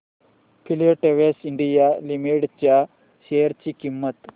Filatex India limited च्या share ची किंमत